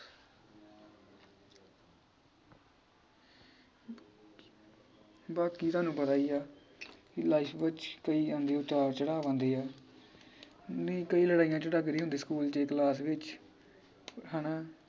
ਬਾਕੀ ਤੁਹਾਨੂੰ ਪਤਾ ਈ ਆ ਕਿ life ਵਿਚ ਕਈ ਆਂਦੇ ਉਤਾਰ ਚੜ੍ਹਾਵਾ ਆਉਂਦੇ ਆ ਨਈ ਕਈ ਲੜਾਈਆਂ ਝਗਾਦੜੇ ਹੁੰਦੇ school ਚ class ਵਿਚ ਹ ਨਾ